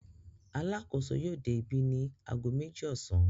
Alákòóso yóò dé ibí ní ago méjì ọ̀sán.